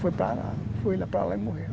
Foi para lá, foi lá para lá e morreu.